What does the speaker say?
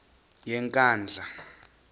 yenkandla